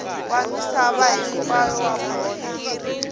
wa misava hinkwayo wa bolo